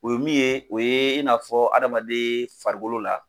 O ye min ye o ye in n'a fɔ adamaden farigolo la.